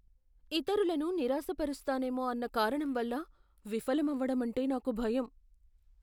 ఇతరులను నిరాశపరుస్తానేమో అన్న కారణం వల్ల విఫలమవ్వడం అంటే నాకు భయం .